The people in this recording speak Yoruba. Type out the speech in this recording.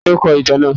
Tání o kọ ìtàn náà?